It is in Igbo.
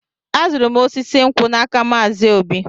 Azụrụ m osisi nkwụ a n'aka Maazi Obi.